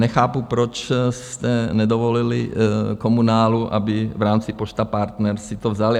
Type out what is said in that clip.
Nechápu, proč jste nedovolili komunálu, aby v rámci Pošta Partner si to vzali.